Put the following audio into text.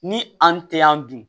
Ni an tɛ yan dun